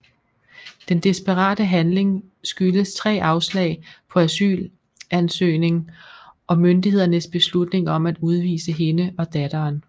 Den desperate handling skyldes tre afslag på asylansøgning og myndighedernes beslutning om at udvise hende og datteren